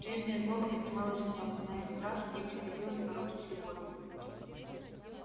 прежняя злоба поднималась в нём но на этот раз ей приходилось бороться с любовью